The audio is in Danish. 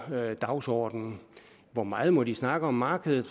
dagsordenen hvor meget må de snakke om markedet